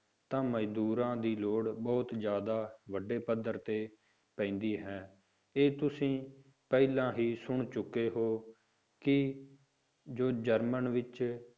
ਤਾਂ ਮਜ਼ਦੂਰਾਂ ਦੀ ਲੋੜ ਬਹੁਤ ਜ਼ਿਆਦਾ ਵੱਡੇ ਪੱਧਰ ਤੇ ਪੈਂਦੀ ਹੈ ਤੇ ਤੁਸੀਂ ਪਹਿਲਾਂ ਹੀ ਸੁਣ ਚੁੱਕੇ ਹੋ ਕਿ ਜੋ ਜਰਮਨ ਵਿੱਚ